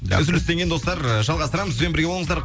үзілістен кейін достар жалғастырамыз бізбен бірге болыңыздар